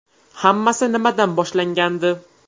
Hammasi nimadan boshlangandi?